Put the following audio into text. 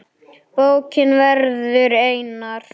Bókin verður einar